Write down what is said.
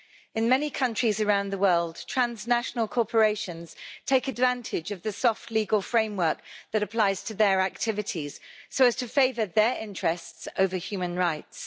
In many countries around the world transnational corporations take advantage of the soft legal framework that applies to their activities so as to favour their interests over human rights.